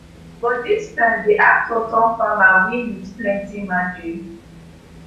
but dis time di actor turn farmer win wit plenti margin